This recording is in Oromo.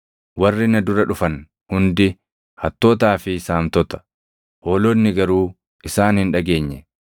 Warri na dura dhufan hundi hattootaa fi saamtota; hoolonni garuu isaan hin dhageenye.